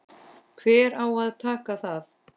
Hver á að taka það?